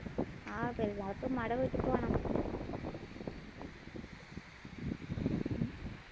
ആഹ് പെരുന്നാൾക്ക് ഉമ്മാടെ വീട്ടിൽ പോണം